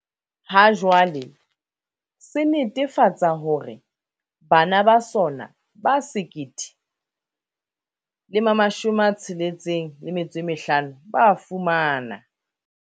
Ha jwale, se netefatsa hore bana ba sona ba 1 065 ba fumana